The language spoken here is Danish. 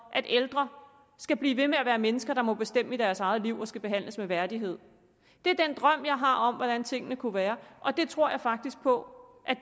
at ældre skal blive ved med at være mennesker der må bestemme i deres eget liv og som skal behandles med værdighed det er den drøm jeg har om hvordan tingene kunne være og det tror jeg faktisk på